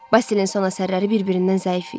Basilin son əsərləri bir-birindən zəif idi.